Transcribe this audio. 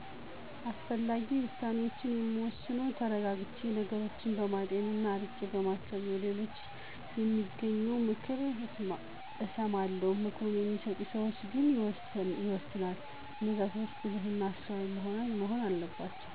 አስፈላጊ ውሳኔዋችን የምወስነው ተረጋግቸ ነገሮችን በማጤን ና አርቄ በማሰብ ነው። ከሌሎች በማገኚው ምክር እተማመናለሁ ምክሩን በሚሰጡን ሰዋች ግን ይወሰናል። እነዛ ሰዋች ብልህ እና አስተዋይ መሆን አለባቸው።